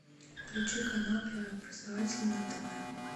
включи канал первый образовательный на тв